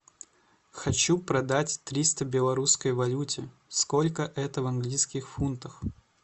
хочу продать триста в белорусской валюте сколько это в английских фунтах